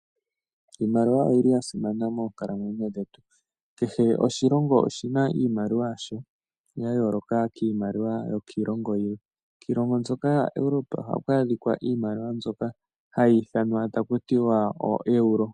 Iimaliwa oyili yasimana moonkalamwenyo dhetu. Kehe oshilongo oshina iimaliwa yasho yayoloka kiimaliwa yokiilongo yilwe. Kiilongo mbyoka yaEurope ohaku adhika iimaliwa mbyoka hayi ithanwa taku tiwa ooeuro.